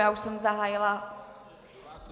Já už jsem zahájila...